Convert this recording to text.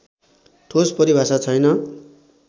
ठोस परिभाषा छैन